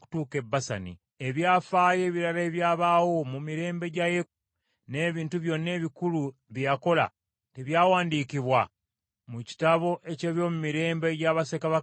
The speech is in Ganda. Ebyafaayo ebirala ebyabaawo mu mirembe gya Yeeku, n’ebintu byonna ebikulu bye yakola, tebyawandiikibwa mu kitabo eky’ebyomumirembe egya bassekabaka ba Isirayiri?